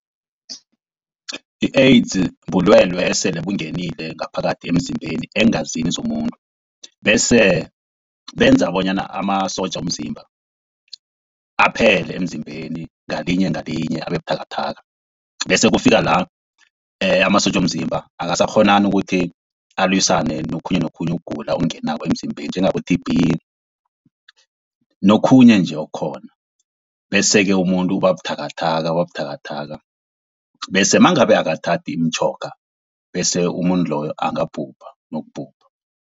I-AIDS bulwelwe esele bungenile ngaphakathi emzimbeni eengazini zomuntu, bese benza bonyana amasotja womzimba aphele emzimbeni ngalinye ngalinye abe buthakathaka. Bese kufika la amasotja womzimba akasakghonani ukuthi alwisane nokhunye, nokhunye ukugula okungenako emzimbeni njengabo-T_B nokhunye nje okukhona. Bese-ke umuntu uba buthakathaka, uba buthakathaka bese nangabe akathathi imitjhoga bese umuntu loyo angabhubha nokubhubha.